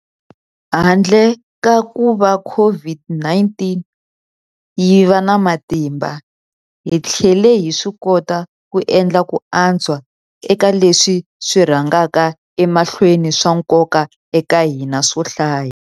Handle ka kuva COVID-19 yi va na matimba, hi tlhele hi swikota ku endla ku antswa eka leswi swi rhangaka emahlweni swa nkoka eka hina swo hlaya.